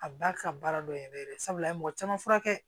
A ba ka baara dɔn yɛrɛ sabula a ye mɔgɔ caman furakɛ